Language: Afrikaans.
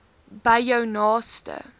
by jou naaste